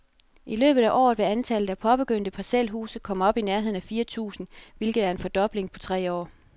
I løbet af året vil antallet af påbegyndte parcelhuse komme op i nærheden af fire tusind, hvilket er en fordobling på tre år.